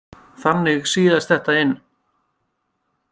Þannig síaðist þetta inn.